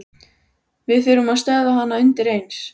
Við þurfum að stöðva hann undireins.